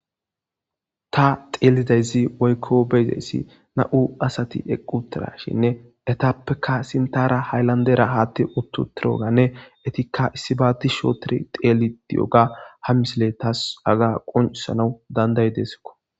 ta xeelidayzi woykko beyzayssi na7u asati eqqutirashinne etappeka sintara hayllandera haatti uttu tiroganne etikka issibaati shootiri xeeli di7oga ha misile taas aga qonsana danday deeskko